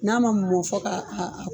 N'a ma mɔ fɔ ka